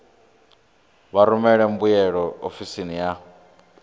vha rumele mbuyelo ofisini ya